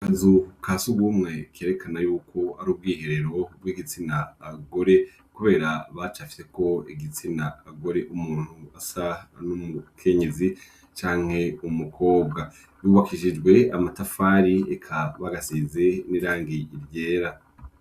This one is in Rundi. Azuka si ugumwe kerekana yuko ari ubwiherero bw'igitsina agore, kubera bacafiyeko igitsina agore umuntu asa no mu kenyezi canke umukobwa yubakishijwe amatafari ikabagasizi n'irangi ivyera.